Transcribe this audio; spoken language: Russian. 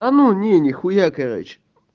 а ну не нехуя короче